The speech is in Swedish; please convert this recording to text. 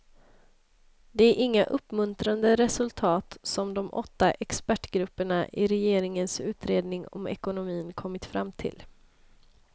Det är inga uppmuntrande resultat som de åtta expertgrupperna i regeringens utredning om ekonomin kommit fram till.